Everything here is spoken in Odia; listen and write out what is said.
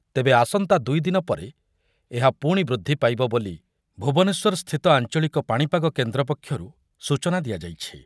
ତେବେ ଆସନ୍ତା ଦୁଇଦିନ ପରେ ଏହା ପୁଣି ବୃଦ୍ଧି ପାଇବ ବୋଲି ଭୁବନେଶ୍ବର ସ୍ଥିତ ଆଞ୍ଚଳିକ ପାଣିପାଗ କେନ୍ଦ୍ର ପକ୍ଷରୁ ସୂଚନା ଦିଆଯାଇଛି।